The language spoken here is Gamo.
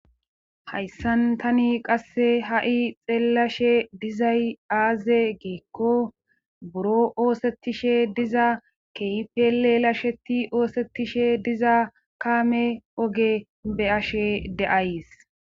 hayssan tani qasse ha7i xeellashe dizay aaze geekko buro oosettishe diza keipele lasheti oosettishe diza kaame oge be ashe de7ays